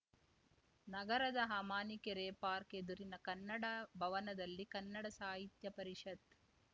ನಗರದ ಅಮಾನಿಕೆರೆ ಪಾರ್ಕ್ ಎದುರಿನ ಕನ್ನಡ ಭವನದಲ್ಲಿ ಕನ್ನಡ ಸಾಹಿತ್ಯ ಪರಿಷತ್